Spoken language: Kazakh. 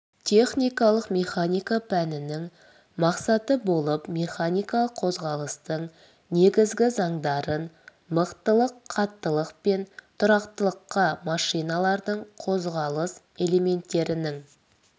техникалық механика пәнінің мақсаты болып механикалық қозғалыстың негізгі заңдарын мықтылық қаттылық пен тұрақтылыққа машиналардың қозғалыс элементтерінің